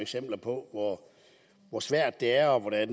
eksempler på hvor hvor svært det er og hvordan